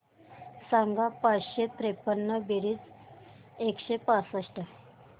सांग पाचशे त्रेपन्न बेरीज एकशे पासष्ट